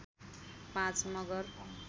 ५ Magar